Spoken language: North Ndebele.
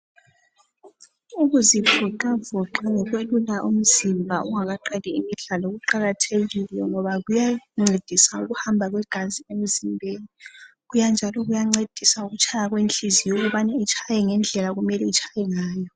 Ukuzivoxavoxa ngokwelula umzimba ungaqali imidlalo kuqakathekile ngoba kuyancedisa ukuhamba kwegazi emzimbeni, njalo kuyancedisa ukutshaya kwenhlizoyo ukubana itshaye ngendlela okumele itshaye ngayo.